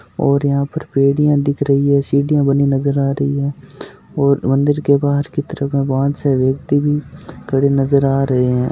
और यहाँ पर पेडिया दिख रही है सिडिया बनी नज़र आ रही है और मंदिर के बहार की तरफ भगवान से व्यक्ति भी खड़े नज़र आ रहे है।